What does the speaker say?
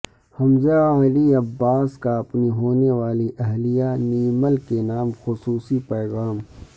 حمزہ علی عباسی کا اپنی ہونیوالی اہلیہ نیمل کے نام خصوصی پیغام